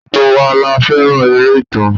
Gbogbo wa la fẹ́ràn eré ìtàn.